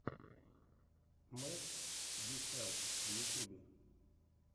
месс юселф в ютьюбе